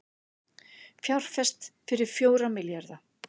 Fjárfest fyrir fjóra milljarða